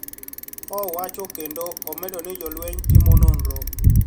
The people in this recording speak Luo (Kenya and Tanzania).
Owacho kendo omedo ni jolweny timo nonro